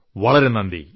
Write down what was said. വളരെ നന്ദി